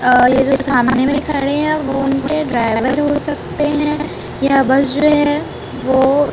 अ ये जो सामने में खड़े है वो उनके ड्राइवर हो सकते है यह बस जो है वो --